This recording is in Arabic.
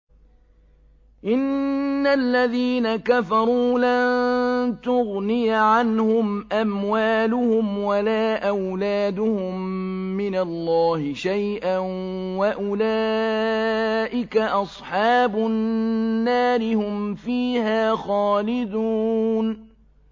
إِنَّ الَّذِينَ كَفَرُوا لَن تُغْنِيَ عَنْهُمْ أَمْوَالُهُمْ وَلَا أَوْلَادُهُم مِّنَ اللَّهِ شَيْئًا ۖ وَأُولَٰئِكَ أَصْحَابُ النَّارِ ۚ هُمْ فِيهَا خَالِدُونَ